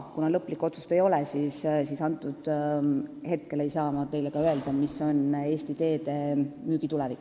Kuna lõplikku otsust ei ole, siis ei saa ma teile ka öelda, milline on Eesti Teede tulevik.